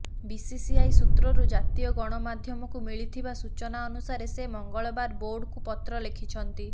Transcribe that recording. BCCI ସୂତ୍ରରୁ ଜାତୀୟ ଗଣମାଧ୍ୟମକୁ ମିଳିଥିବା ସୂଚନା ଅନୁସାରେ ସେ ମଙ୍ଗଳବାର ବୋର୍ଡକୁ ପତ୍ର ଲେଖିଛନ୍ତି